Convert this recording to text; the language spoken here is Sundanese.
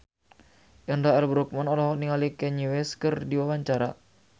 Indra L. Bruggman olohok ningali Kanye West keur diwawancara